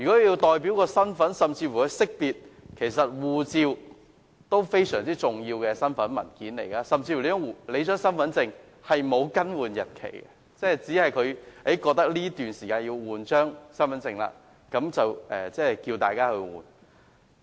就識別身份的功能而言，護照其實是非常重要的身份證明文件，身份證甚至沒有更換日期，只是在政府認為有需要更換時才更換。